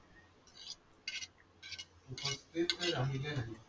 उपस्थित राहिल्या नाही.